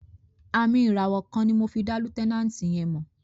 Àmìn ìràwọ̀ kan ni mo fi dá lieutenant yẹn mọ̀.